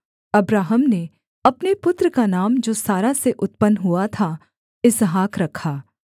Abraham ने अपने पुत्र का नाम जो सारा से उत्पन्न हुआ था इसहाक रखा